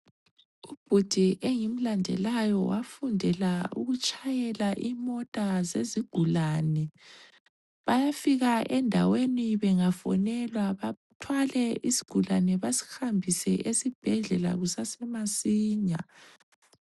Ubhudi engimlandelayo wafundela ukutshayela imota zezigulane ,bayafika endaweni bengafonelwa bathwale isigulane basihambise esibhedlela kusasa masinya